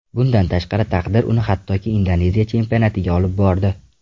Bundan tashqari taqdir uni hattoki Indoneziya chempionatiga olib bordi.